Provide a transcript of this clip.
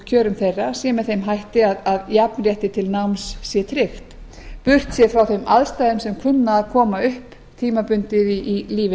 kjörum þeirra sé með þeim hætti að jafnrétti til náms sé tryggt burt séð frá þeim aðstæðum sem kunna að koma upp tímabundið í lífi